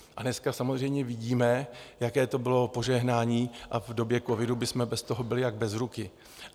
A dneska samozřejmě vidíme, jaké to bylo požehnání, a v době covidu bychom bez toho byli jak bez ruky.